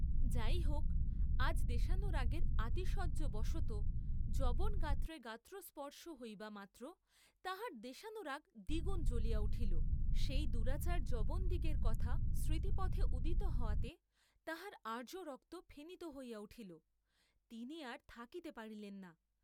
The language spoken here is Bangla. যাই হোক, আজ দেশানুরাগের আতিশয্য বশতঃ যবনগাত্রে গাত্র স্পর্শ হইবামাত্র তাঁহার দেশানুরাগ দ্বিগুণ জলিয়া উঠিল, সেই দুরাচার যবনদিগের কথা স্মৃতিপথে উদিত হওয়াতে তাঁহার আর্য্যরক্ত ফেনিত হইয়া উঠিল, তিনি আর থাকিতে পারিলেন না।